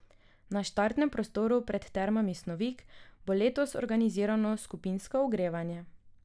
Na štartnem prostoru pred Termami Snovik bo letos organizirano skupinsko ogrevanje.